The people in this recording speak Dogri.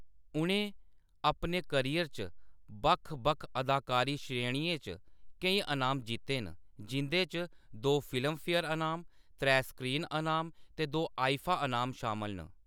उʼनें अपने करियर च बक्ख-बक्ख अदाकारी श्रेणियें च केईं अनाम जित्ते न, जिंʼदे च दो फिल्मफेयर अनाम, त्रै स्क्रीन अनाम ते दो आईफा अनाम शामल न।